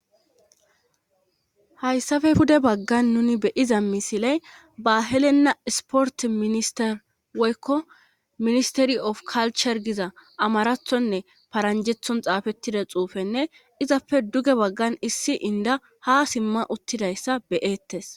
hayssafe pude baggan nuni beyiza misiley ba helenna isport minister weykko ministeri of kalcher giza amarathonne paranjethon xaafettida xuufenne izappe duge baggan issi inda ha simma uttidayssa beyettes